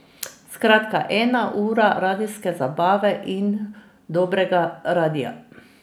Skratka, ena ura radijske zabave in dobrega radia.